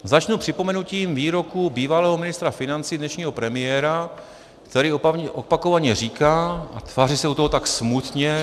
Začnu připomenutím výroku bývalého ministra financí, dnešního premiéra, který opakovaně říká a tváří se u toho tak smutně -